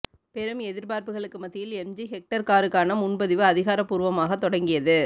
பெரும் எதிர்பார்ப்புகளுக்கு மத்தியில் எம்ஜி ஹெக்டர் காருக்கான முன்பதிவு அதிகாரப்பூர்வமாக தொடங்கியது